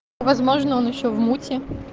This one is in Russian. возможно он ещё в муте